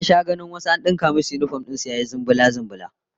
Na sha ganin wasu an dinka musu yinifom din su zulumbu, burma-burma